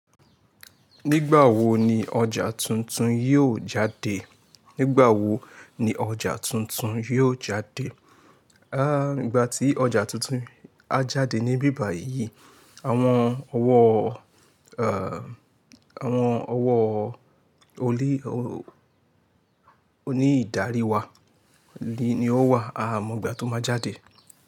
Nígbà wo ni ọjà tuntun yóò jáde? Nígbà tí ọjà tuntun á jáde ní bíbà yìí, àwọn ọ̀wọ́ onídarí wa lè ní ó wà àmọ́ ìgbà tó máa jáde.